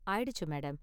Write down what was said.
ஆயிடுச்சு மேடம்.